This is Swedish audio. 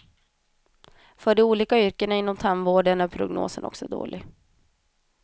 För de olika yrkena inom tandvården är prognosen också dålig.